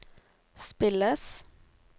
spilles